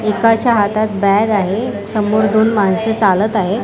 एकाच्या हातात बॅग आहे समोर दोन माणस चालत आहे.